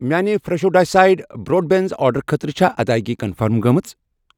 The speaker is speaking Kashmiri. میانہِِ فرٛٮ۪شو ڈایسٕڈ بروڈ بیٖنٕز آرڈرٕ خٲطرٕ چھا ادٲیگی کنفٔرم گٔمٕژ؟